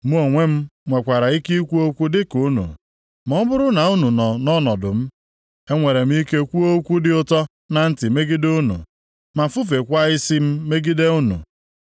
Mụ onwe m nwekwara ike ikwu okwu dịka unu, ma ọ bụrụ na unu nọ nʼọnọdụ m; enwere m ike kwuo okwu dị ụtọ na ntị megide unu, ma fufekwaa isi + 16:4 Ifufe isi nʼihu mmadụ, bụ omume nlelị anya. Ọ pụtara na e nweghị nsọpụrụ nʼebe onye dị otu a nọ. \+xt Abụ 22:7; Akw 2:15; Mat 27:39\+xt* m megide unu.